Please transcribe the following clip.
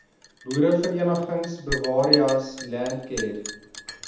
boereverenigings bewareas landcare